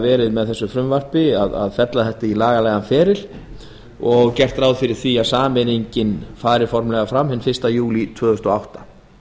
verið að fella þetta í lagalegan feril og gert er ráð fyrir því að sameiningin fari formlega fram hinn fyrsta júlí tvö þúsund og átta